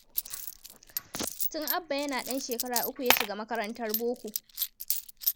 Tun Abba yana ɗan shekara uku ya shiga makarantar boko.